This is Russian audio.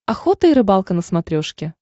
охота и рыбалка на смотрешке